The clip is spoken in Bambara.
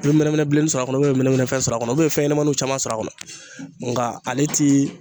I be mɛnɛmɛnɛ bilennin sɔr'a kɔnɔ u bɛ i be mɛnɛmɛnɛ fɛn sɔr'a kɔnɔ fɛnɲɛnamaninw caman sɔr'a kɔnɔ nga ale ti